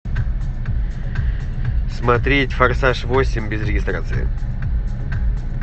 смотреть форсаж восемь без регистрации